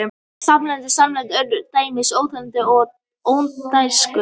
Sambærilega samsett örnefni eru til dæmis Óþveginstunga og Ódáinsakur.